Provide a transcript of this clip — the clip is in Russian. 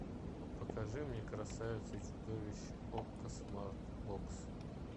покажи мне красавица и чудовище окко смарт бокс